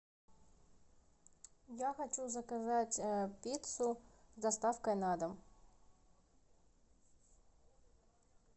я хочу заказать пиццу с доставкой на дом